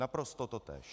Naprosto totéž.